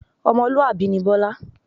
Ọmọlúwàbí ni Bọlá